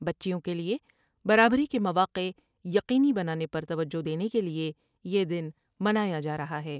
بچیوں کیلئے برابری کے مواقع یقینی بنانے پر توجہ دینے کے لئے یہ دن منایا جارہا ہے ۔